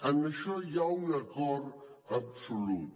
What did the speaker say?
en això hi ha un acord absolut